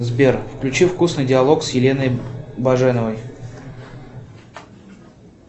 сбер включи вкусный диалог с еленой баженовой